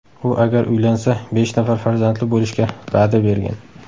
U agar uylansa, besh nafar farzandli bo‘lishga va’da bergan.